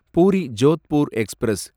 puri Jodhpur express